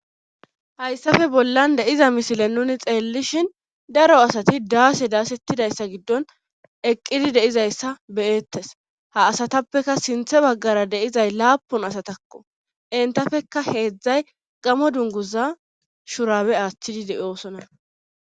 hayssafe bollan deiza misile nuni xeellishin daro asati daase daasettidayssa giddon eqqidi deizayssa beyeettes ha asatappeka sinthe baggara deizay laapun asatakko entafeka heedzdzay gamo dunguza shurabe aaththidi de7oosona